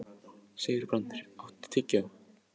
Sigurbrandur, áttu tyggjó?